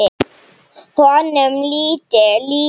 Honum létti líka.